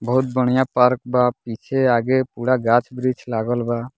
बहुत बढ़िया पार्क बा पीछे आगे पूरा गाछ-वृक्ष लागल बा।